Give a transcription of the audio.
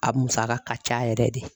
A musaka ka ca yɛrɛ de.